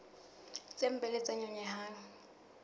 tse mpe le tse nyonyehang